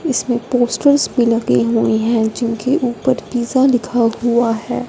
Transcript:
इसमें पोस्टरस भी लगे हुए हैं जिनके ऊपर पिज्जा लिखा हुआ है।